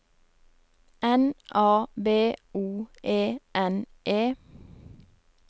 N A B O E N E